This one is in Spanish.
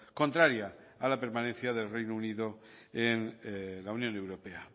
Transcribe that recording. contraria a la permanencia del reino unido en la unión europea